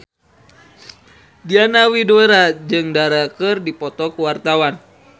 Diana Widoera jeung Dara keur dipoto ku wartawan